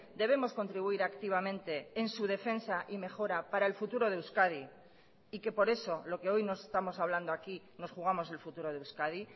debemos contribuir activamente en su defensa y mejora para el futuro de euskadi y que por eso lo que hoy nos estamos hablando aquí nos jugamos el futuro de euskadi